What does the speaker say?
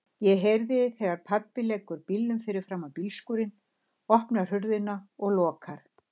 Ég heyri þegar pabbi leggur bílnum fyrir framan bílskúrinn, opnar hurðina og lokar.